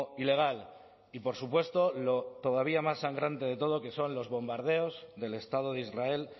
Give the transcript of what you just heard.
ilegal y por supuesto lo todavía más sangrante de todo que son los bombardeos del estado de israel